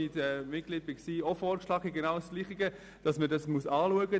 Ich habe dieses Thema im Gemeinderat von Huttwil eingebracht.